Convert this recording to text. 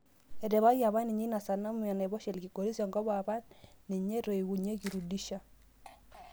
Etipikaki apaninye ina sanamu enaiposha ekiligoris enkop apa ninye natowuoki Rudisha